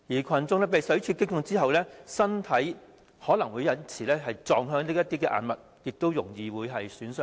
群眾被水柱擊中後，身體可能會撞向硬物以致造成損害。